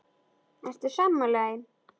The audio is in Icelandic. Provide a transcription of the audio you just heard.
Ertu sammála því?